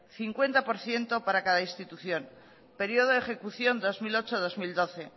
cincuenta por ciento para cada institución periodo de ejecución dos mil ocho dos mil doce